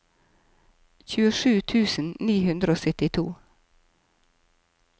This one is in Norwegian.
tjuesju tusen ni hundre og syttito